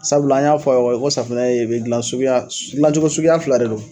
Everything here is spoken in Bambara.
Sabula an y'a fɔ a' ye kɔy ko safunɛɛ be dilan suguya dilancogo suguya fila de don